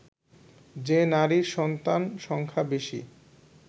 যে নারীর সন্তান সংখ্যা বেশি